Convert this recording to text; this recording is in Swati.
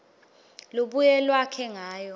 lubuye lwakhe ngayo